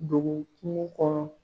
Ducu kungo kɔnɔ